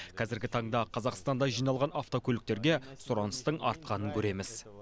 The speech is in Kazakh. қазіргі таңда қазақстанда жиналған автокөліктерге сұраныстың артқанын көреміз